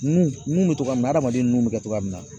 Mun mun bɛ togoya min na adamaden nun bɛ kɛ cogoya min na.